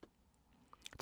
DR K